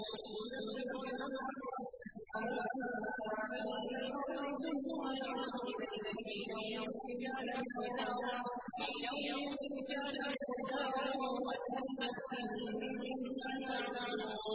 يُدَبِّرُ الْأَمْرَ مِنَ السَّمَاءِ إِلَى الْأَرْضِ ثُمَّ يَعْرُجُ إِلَيْهِ فِي يَوْمٍ كَانَ مِقْدَارُهُ أَلْفَ سَنَةٍ مِّمَّا تَعُدُّونَ